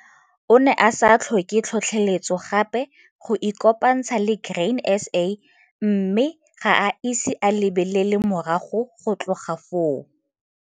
O ne a sa tlhoke tlhotlheletso gape go ikopantsha le Grain SA mme ga a ise a lebelele morago go tloga foo.